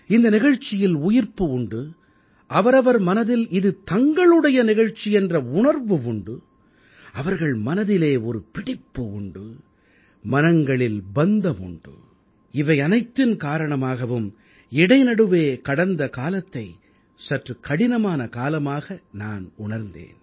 இந்த நிகழ்ச்சியில் உயிர்ப்பு உண்டு அவரவர் மனதில் இது தங்களுடைய நிகழ்ச்சி என்ற உணர்வு உண்டு அவர்கள் மனதிலே ஒரு பிடிப்பு உண்டு மனங்களில் பந்தம் உண்டு இவை அனைத்தின் காரணமாகவும் இடைநடுவே கடந்த காலத்தை சற்றுக் கடினமான காலமாக நான் உணர்ந்தேன்